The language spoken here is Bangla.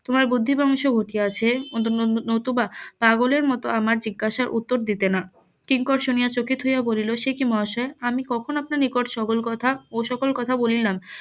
তোমার বুদ্ধি ভোঁস . ঘটিয়াছে . নতুবা পাগলের মতো আমার জিজ্ঞাসার উত্তর দিতে না কিংকর শুনিয়া চকিত হইয়া বলিল সে কি মহাশয় আমি কখন আপনার নিকট সকল কথা ও সকল কথা বলিলাম